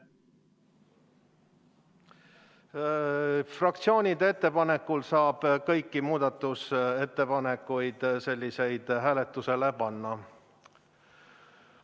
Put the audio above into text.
Fraktsioonide ettepanekul saab kõiki selliseid muudatusettepanekuid hääletusele panna.